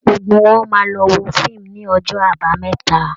Gbogbo wọn máa lọ wo fíìmù ní ọjọ́ àbámẹ́ta